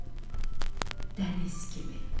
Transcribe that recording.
Dəniz kimi.